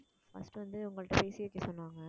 first வந்து உங்கள்ட்ட பேசி வைக்கச் சொன்னாங்க